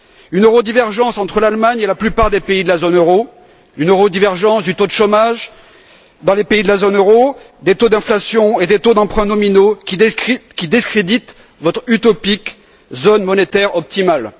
Une eurodivergence entre l'Allemagne et la plupart des pays de la zone euro, une eurodivergence du taux de chômage dans les pays de la zone euro, des taux d'inflation et des taux d'emprunt nominaux qui discréditent votre utopique zone monétaire optimale.